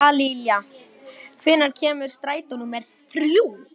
Dallilja, hvenær kemur strætó númer þrjú?